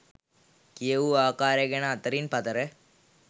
කියවූ ආකාරය ගැන අතරින් පතර